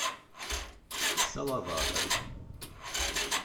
салавата